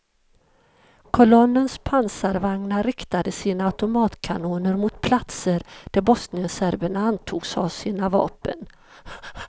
Kolonnens pansarbandvagnar riktade sina automatkanoner mot platser där bosnienserberna antogs ha sina vapen.